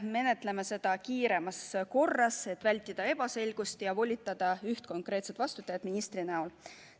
Menetleme seda kiiremas korras, et vältida ebaselgust ja volitada üht konkreetset vastutajat ministri näol.